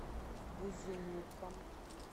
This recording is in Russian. бузулуком